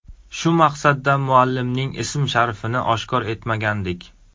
Shu maqsadda muallimaning ism-sharifini oshkor etmagandik.